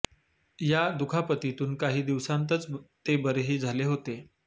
या दुखापतीतून काही दिवसांतच ते बरेही झाले होते